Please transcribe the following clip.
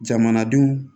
Jamanadenw